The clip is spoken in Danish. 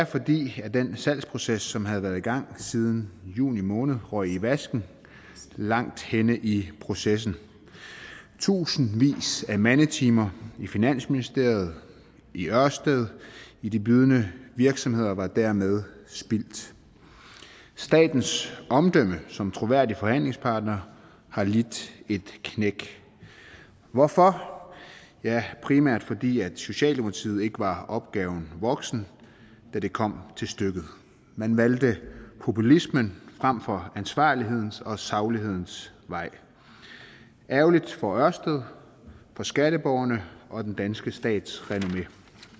fordi den salgsproces som havde været i gang siden juli måned røg i vasken langt henne i processen tusindvis af mandetimer i finansministeriet i ørsted i de bydende virksomheder var dermed spildt statens omdømme som troværdig forhandlingspartner har lidt et knæk hvorfor primært fordi socialdemokratiet ikke var opgaven voksen da det kom til stykket man valgte populismen frem for ansvarlighedens og saglighedens vej ærgerligt for ørsted for skatteborgerne og den danske stats renommé